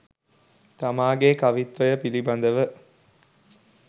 තමාගේ කවිත්වය පිළිබඳ